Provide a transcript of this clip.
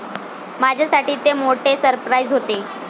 माझ्यासाठी ते मोठे सरप्राईज होते.